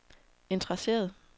interesseret